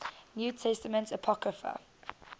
new testament apocrypha